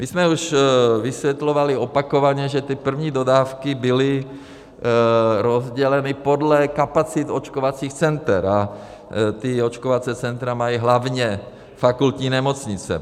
My jsme už vysvětlovali opakovaně, že ty první dodávky byly rozděleny podle kapacit očkovacích center, a ta očkovací centra mají hlavně fakultní nemocnice.